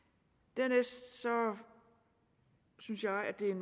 dernæst synes jeg at det er